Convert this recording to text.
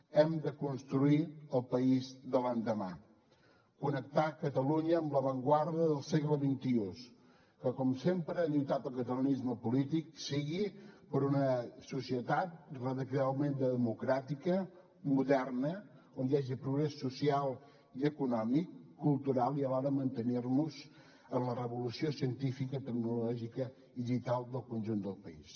hem de construir el país de l’endemà connectar catalunya amb l’avantguarda del segle xxi que com sempre ha lluitat el catalanisme polític sigui per una societat radicalment democràtica moderna on hi hagi progrés social i econòmic cultural i alhora mantenir nos en la revolució científica tecnològica i digital del conjunt del país